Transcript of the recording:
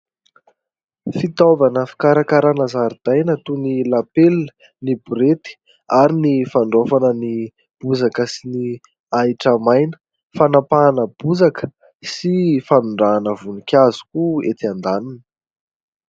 Fitaovana fikarakarana zaridaina toy ny lapelina, ny borety ary ny fandraofana ny bozaka sy ny ahitra maina, fanapahana bozaka sy fanondrahana voninkazo koa etsy andaniny.